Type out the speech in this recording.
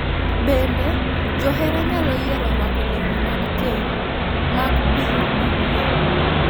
Bende, johera nyalo yiero rwako lewni mag keny mag piny Ugwe,